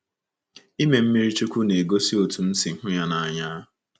Ịme mmiri chukwu m ga-egosi otú m si hụ ya n’anya.